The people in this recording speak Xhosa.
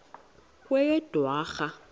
kweyedwarha